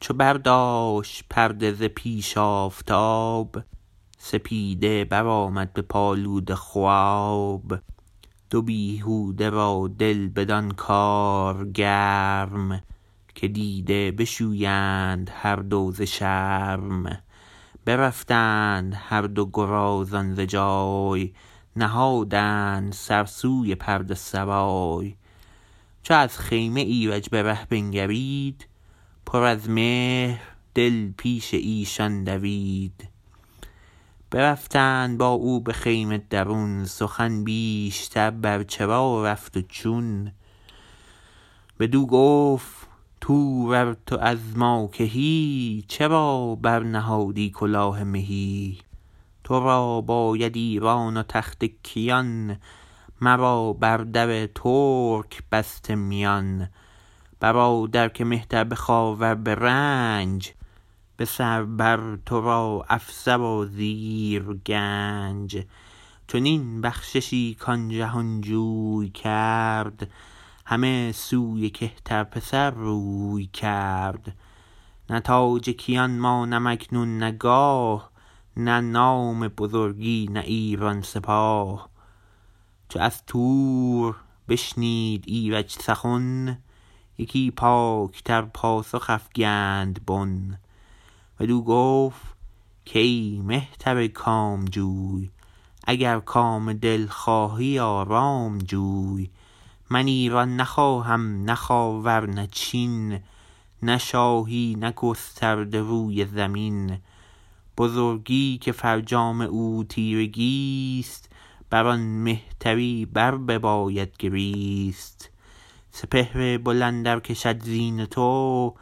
چو برداشت پرده ز پیش آفتاب سپیده برآمد بپالود خواب دو بیهوده را دل بدان کار گرم که دیده بشویند هر دو ز شرم برفتند هر دو گرازان ز جای نهادند سر سوی پرده سرای چو از خیمه ایرج به ره بنگرید پر از مهر دل پیش ایشان دوید برفتند با او به خیمه درون سخن بیشتر بر چرا رفت و چون بدو گفت تور ار تو از ما کهی چرا برنهادی کلاه مهی ترا باید ایران و تخت کیان مرا بر در ترک بسته میان برادر که مهتر به خاور به رنج به سر بر ترا افسر و زیر گنج چنین بخششی کان جهان جوی کرد همه سوی کهتر پسر روی کرد نه تاج کیان مانم اکنون نه گاه نه نام بزرگی نه ایران سپاه چو از تور بشنید ایرج سخن یکی پاک تر پاسخ افگند بن بدو گفت کای مهتر کام جو ی اگر کام دل خواهی آرام جوی من ایران نخواهم نه خاور نه چین نه شاهی نه گسترده روی زمین بزرگی که فرجام او تیرگی ست بر آن مهتری بر بباید گریست سپهر بلند ار کشد زین تو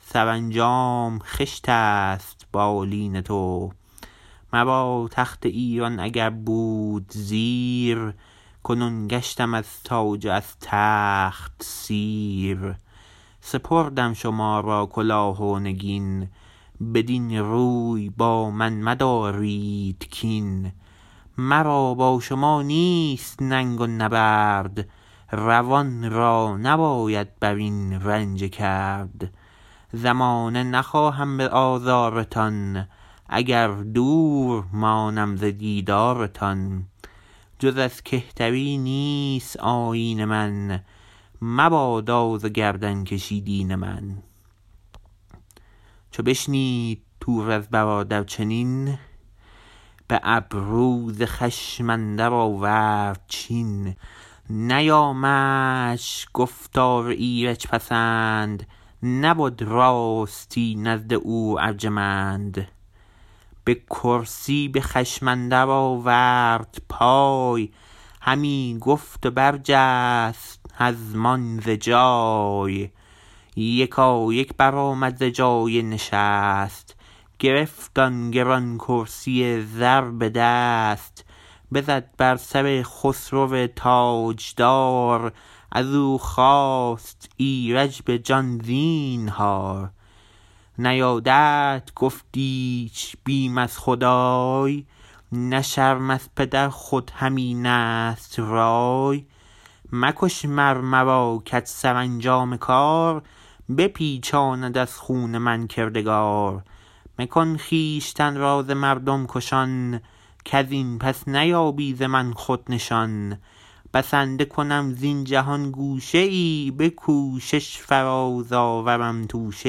سرانجام خشت است بالین تو مرا تخت ایران اگر بود زیر کنون گشتم از تاج و از تخت سیر سپردم شما را کلاه و نگین بدین روی با من مدارید کین مرا با شما نیست ننگ و نبرد روان را نباید برین رنجه کرد زمانه نخواهم به آزار تان اگر دور مانم ز دیدار تان جز از کهتری نیست آیین من مباد آز و گردن کشی دین من چو بشنید تور از برادر چنین به ابرو ز خشم اندر آورد چین نیامدش گفتار ایرج پسند نبد راستی نزد او ارجمند به کرسی به خشم اندر آورد پای همی گفت و برجست هزمان ز جای یکایک برآمد ز جای نشست گرفت آن گران کرسی زر به دست بزد بر سر خسرو تاجدار از او خواست ایرج به جان زینهار نیایدت گفت ایچ بیم از خدای نه شرم از پدر خود همین است رای مکش مر مرا که ت سرانجام کار بپیچاند از خون من کردگار مکن خویشتن را ز مردم کشان کزین پس نیابی ز من خود نشان بسنده کنم زین جهان گوشه ای به کوشش فراز آورم توشه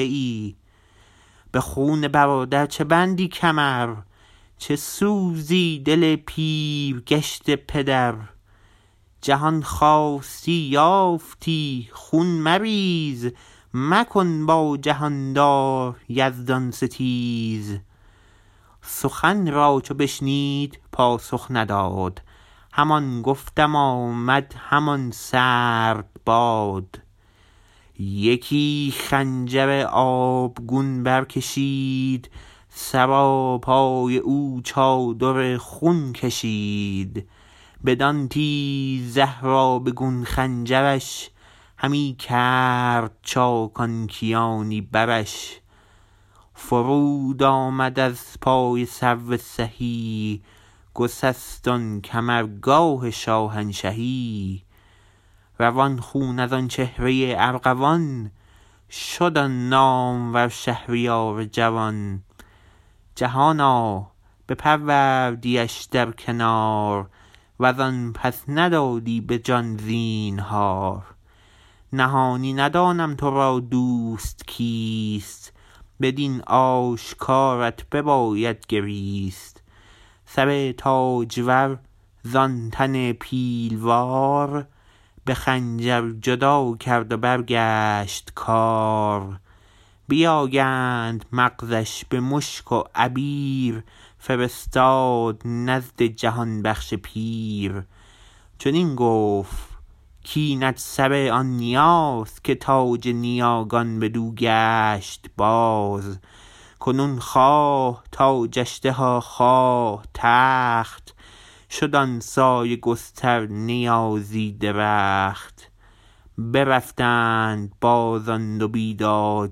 ای به خون برادر چه بندی کمر چه سوزی دل پیر گشته پدر جهان خواستی یافتی خون مریز مکن با جهاندار یزدان ستیز سخن را چو بشنید پاسخ نداد همان گفتن آمد همان سرد باد یکی خنجر آبگون برکشید سراپای او چادر خون کشید بدان تیز زهر آبگون خنجر ش همی کرد چاک آن کیانی برش فرود آمد از پای سرو سهی گسست آن کمرگاه شاهنشهی روان خون از آن چهره ارغوان شد آن نامور شهریار جوان جهانا بپروردیش در کنار وز آن پس ندادی به جان زینهار نهانی ندانم ترا دوست کیست بدین آشکارت بباید گریست سر تاجور ز آن تن پیلوار به خنجر جدا کرد و برگشت کار بیاگند مغز ش به مشک و عبیر فرستاد نزد جهان بخش پیر چنین گفت کاینت سر آن نیاز که تاج نیاگان بدو گشت باز کنون خواه تاجش ده و خواه تخت شد آن سایه گستر نیازی درخت برفتند باز آن دو بیداد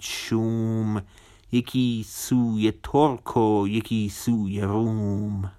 شوم یکی سوی ترک و یکی سوی روم